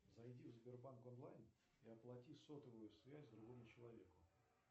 зайди в сбербанк онлайн и оплати сотовую связь другому человеку